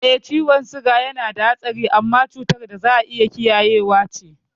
Eh, ciwon siga yanada hatsari amma cutar da za'a iya kiyayewa ce.